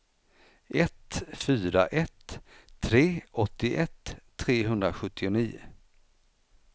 ett fyra ett tre åttioett trehundrasjuttionio